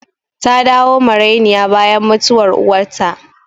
Ta dawo marainiya bayan mutuwar uwarta